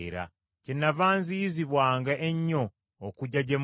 Kyennava nziyizibwanga ennyo okujja gye muli;